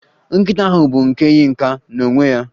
Nkịta ahụ bụ nke Yinka n'onwe ya